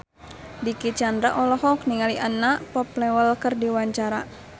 Dicky Chandra olohok ningali Anna Popplewell keur diwawancara